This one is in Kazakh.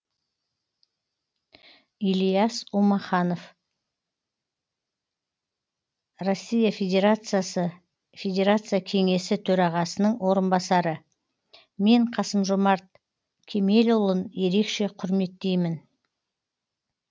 ильяс умаханов рф федерация кеңесі төрағасының орынбасары мен қасым жомарт кемелұлын ерекше құрметтеймін